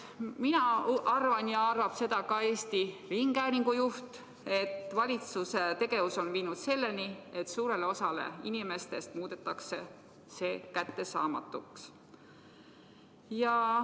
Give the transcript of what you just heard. Mina arvan ja seda arvab ka Eesti Rahvusringhäälingu juht, et valitsuse tegevus on viinud selleni, et suurele osale inimestest muudetakse need kättesaamatuks.